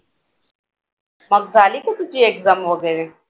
मग झाली का तुझी exam वगैरे